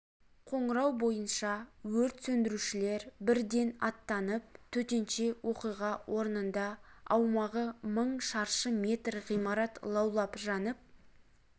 қоңырау бойынша өрт сөндірушілер бірден аттанып төтенше оқиға орнында аумағы мың шаршы метр ғимарат лаулап жанып